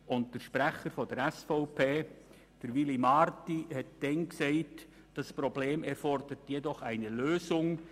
Der Sprecher der SVP, Willy Marti, sagte damals: «Das Problem erfordert jedoch eine Lösung.